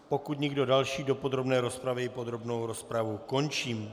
Pokud nikdo další do podrobné rozpravy, podrobnou rozpravu končím.